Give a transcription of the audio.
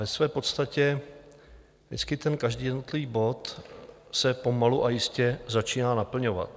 Ve své podstatě vždycky ten každý jednotlivý bod se pomalu, ale jistě, začíná naplňovat.